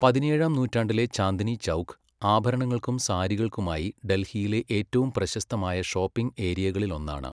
പതിനേഴാം നൂറ്റാണ്ടിലെ ചാന്ദ്നി ചൗക്ക്, ആഭരണങ്ങൾക്കും സാരികൾക്കുമായി ഡൽഹിയിലെ ഏറ്റവും പ്രശസ്തമായ ഷോപ്പിംഗ് ഏരിയകളിലൊന്നാണ്.